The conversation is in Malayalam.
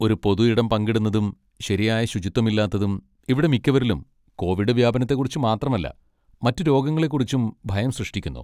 ഒരു പൊതു ഇടം പങ്കിടുന്നതും ശരിയായ ശുചിത്വമില്ലാത്തതും ഇവിടെ മിക്കവരിലും കോവിഡ് വ്യാപനത്തെക്കുറിച്ച് മാത്രമല്ല മറ്റ് രോഗങ്ങളെക്കുറിച്ചും ഭയം സൃഷ്ടിക്കുന്നു.